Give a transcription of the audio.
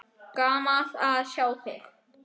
Gaman að sjá þig.